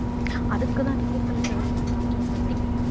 அதுக்குத்தான் ticket collector க்குதான் நானும் போட்டிருந்தேன்